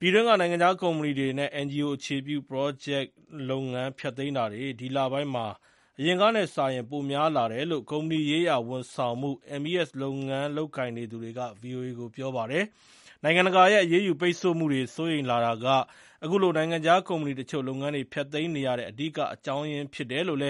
ပြည်တွင်းက နိုင်ငံခြားကုမ္ပဏီတွေနဲ့ NGO အခြေပြု ပရော့ဂျက်လုပ်ငန်း ဖျက်သိမ်းတာတွေ ဒီလပိုင်းမှာ အရင်ကနဲ့စာရင် ပိုပြီးများလာတယ်လို့ ကုမ္ပဏီရေးရာဝန်ဆောင်မှု MES လုပ်ငန်း လုပ်နေသူတွေက ဗွီအိုအေကို ပြောပါတယ်။ နိုင်ငံတကာရဲ့ အရေးယူပိတ်ဆို့မှုတွေကို စိုးရိမ်လာတာက အခုလို နိုင်ငံခြားကုမ္ပဏီတချို့ လုပ်ငန်းတွေဖျက်သိမ်းနေရတဲ့ အဓိကအကြောင်းရင်းဖြစ်တယ်လို့